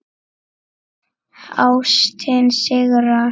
Ástin sigrar.